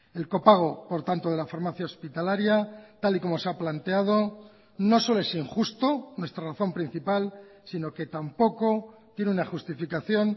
el copago por tanto de la farmacia hospitalaria tal y como se ha planteado no solo es injusto nuestra razón principal si no que tampoco tiene una justificación